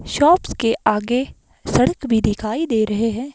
Shops के आगे सड़क भी दिखाई दे रहे हैं।